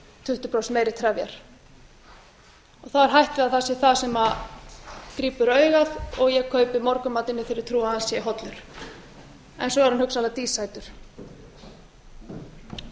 gefnar það er hætt við að það sé það sem grípur augað og ég kaupi morgunmatinn í þeirri trú að hann sé hollur en svo er hann hugsanlega dísætur